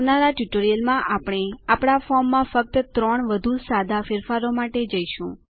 આવનારા ટ્યુટોરીયલમાં આપણે આપણા ફોર્મમાં ફક્ત ત્રણ વધું સાદા ફેરફારો મારફતે જઈશું